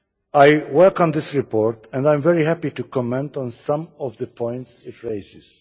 I welcome this report, and I am very happy to comment on some of the points it raises.